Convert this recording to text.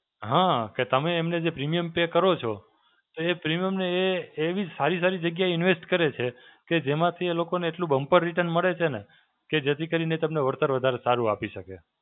હાં, કે તમે એમને જે premium પે કરો છો, તો એ premium ને એ એવી સારી સારી જગ્યા invest કરે છે કે જેમાંથી એ લોકોને એટલું bumper return મળે છે ને કે જેથી કરીને તમને વળતર વધારે સારું આપી શકે.